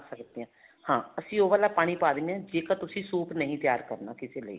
ਬਣਾ ਸਕਦੇ ਹਾਂ ਅਸੀਂ ਉਹ ਵਾਲਾ ਪਾਣੀ ਪਾ ਦਿੰਨੇ ਹਾਂ ਜੇਕਰ ਤੁਸੀਂ soup ਨਹੀਂ ਤਿਆਰ ਕਰਨਾ ਕਿਸੇ ਲਈ